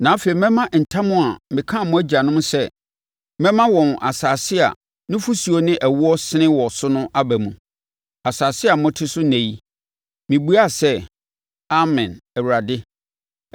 Na afei mɛma ntam a mekaa mo agyanom sɛ, mema wɔn asase a nufosuo ne ɛwoɔ resene wɔ so no aba mu,’ asase mote so ɛnnɛ yi.” Mebuaa sɛ, “Amen, Awurade.”